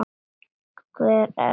Hver á að dæma?